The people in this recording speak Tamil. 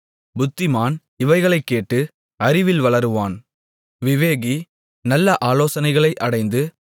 புத்திமான் இவைகளைக் கேட்டு அறிவில் வளருவான் விவேகி நல்ல ஆலோசனைகளை அடைந்து